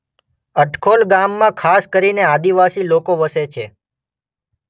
અટખોલ ગામમાં ખાસ કરીને આદિવાસી લોકો વસે છે.